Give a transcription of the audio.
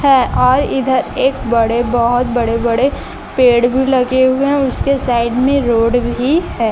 हैं और इधर एक बड़े बहोत बड़े बड़े पेड़ भी लगे हुए हैं उसके साइड में रोड भी है।